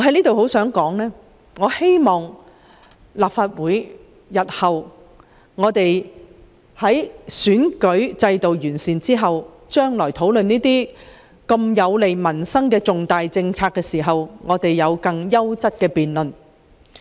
但願日後在完善立法會的選舉制度後，能在討論這些有利民生的重大政策時進行更優質的辯論。